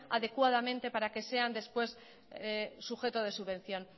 adecuadamente para que sean después sujeto de subvención